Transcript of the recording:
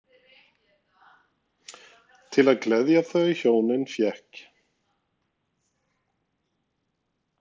Til að gleðja þau hjónin fékk